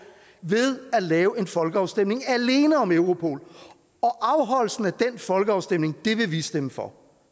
ved at lave en folkeafstemning alene om europol og afholdelsen af den folkeafstemning vil vi stemme for